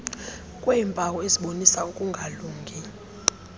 kweempawu ezibonisa ukungalungi